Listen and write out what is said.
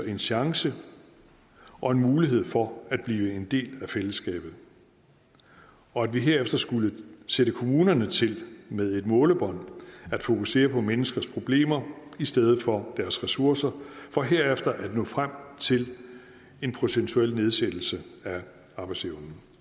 en chance og en mulighed for at blive en del af fællesskabet og at vi herefter skulle sætte kommunerne til med et målebånd at fokusere på menneskers problemer i stedet for deres ressourcer for herefter at nå frem til en procentuel nedsættelse af arbejdsevnen